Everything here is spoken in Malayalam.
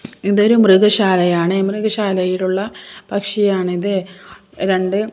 ഇതൊരു മൃഗശാലയാണ് മൃഗശാലയിലുള്ള പക്ഷിയാണിത് രണ്ട്--